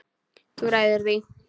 Þú ræður því.